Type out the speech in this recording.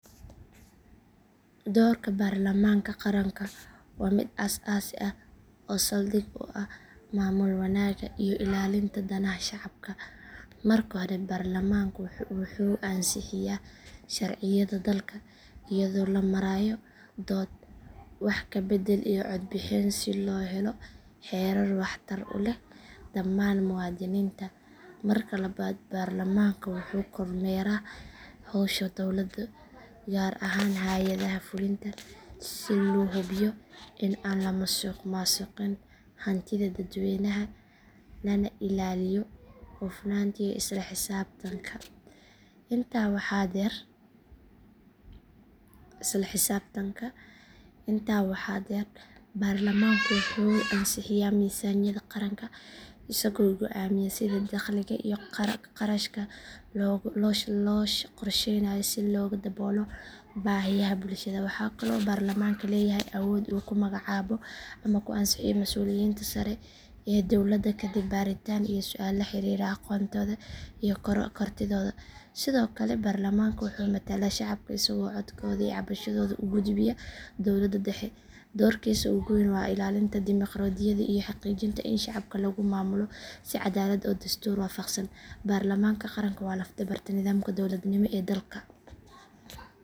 Doorka baarlamaanka qaranka waa mid aas aasi ah oo saldhig u ah maamul wanaagga iyo ilaalinta danaha shacabka. Marka hore baarlamaanku wuxuu ansixiyaa sharciyada dalka iyadoo la marayo dood, wax ka beddel iyo cod bixin si loo helo xeerar waxtar u leh dhammaan muwaadiniinta. Marka labaad baarlamaanka wuxuu kormeeraa howsha dowladda gaar ahaan hay’adaha fulinta si loo hubiyo in aan la musuqmaasuqin hantida dadweynaha lana ilaaliyo hufnaanta iyo isla xisaabtanka. Intaa waxaa dheer baarlamaanku wuxuu ansixiyaa miisaaniyadda qaranka isagoo go’aamiya sida dakhliga iyo kharashka loo qorsheynayo si loo daboolo baahiyaha bulshada. Waxaa kaloo baarlamaanku leeyahay awood uu ku magacaabo ama ku ansixiyo mas’uuliyiinta sare ee dowladda kadib baaritaan iyo su’aalo la xiriira aqoontooda iyo kartidooda. Sidoo kale baarlamaanka wuxuu matalaa shacabka isagoo codkooda iyo cabashadooda u gudbiya dowladda dhexe. Doorkiisa ugu weyn waa ilaalinta dimoqraadiyadda iyo xaqiijinta in shacabka lagu maamulo si caddaalad ah oo dastuur waafaqsan. Baarlamaanka qaranku waa laf dhabarta nidaamka dowladnimo ee dalka.